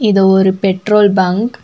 இது ஒரு petrol bunk .